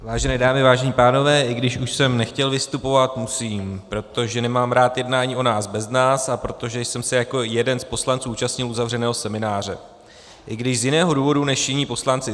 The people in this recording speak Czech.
Vážené dámy, vážení pánové, i když už jsem nechtěl vystupovat, musím, protože nemám rád jednání o nás bez nás a protože jsem se jako jeden z poslanců účastnil uzavřeného semináře, i když z jiného důvodu než jiní poslanci.